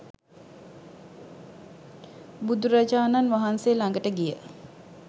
බුදුරජාණන් වහන්සේ ළඟට ගිය